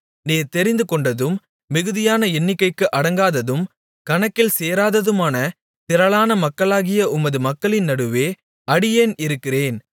நீர் தெரிந்துகொண்டதும் மிகுதியான எண்ணிக்கைக்கு அடங்காததும் கணக்கில் சேராததுமான திரளான மக்களாகிய உமது மக்களின் நடுவில் அடியேன் இருக்கிறேன்